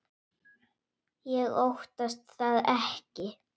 Ég óttast það ekki.